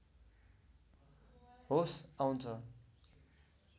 होस आउँछ